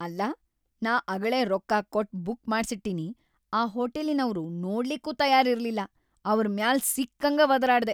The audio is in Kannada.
ಅಲ್ಲಾ ನಾ ಅಗಳೇ ರೊಕ್ಕಾ ಕೊಟ್‌ ಬುಕ್‌ ಮಾಡ್ಸಿಟ್ಟಿನಿ ಆ ಹೋಟಲಿನವ್ರು ನೋಡ್ಲಿಕ್ಕೂ ತಯಾರಿರ್ಲಿಲ್ಲ ಅವರ್‌ ಮ್ಯಾಲ್ ಸಿಕ್ಕಂಗ ವದರಾಡ್ದೆ.